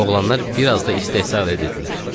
Oğlanlar bir az da istehza elədilər.